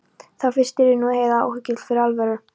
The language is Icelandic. Þá fyrst yrði nú Heiða áhyggjufull fyrir alvöru.